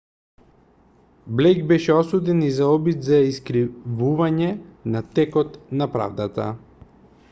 блејк беше осуден и за обид за искривување на текот на правдата